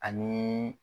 Ani